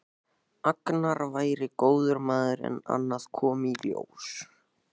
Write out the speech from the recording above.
Agnar væri góður maður en annað kom í ljós.